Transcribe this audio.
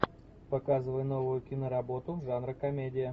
показывай новую киноработу жанра комедия